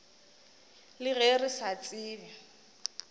le ge re sa tsebe